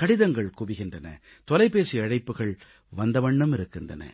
கடிதங்கள் குவிகின்றன தொலைபேசி அழைப்புகள் வந்தவண்ணம் இருக்கின்றன